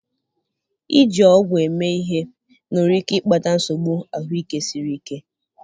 iji ọgwụ eme ihe nwere ike ịkpata nsogbu ahụike siri ike.